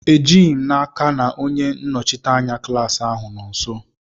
Ejighi m n'aka ma onye nnọchite anya klaasị ahụ nọ nso.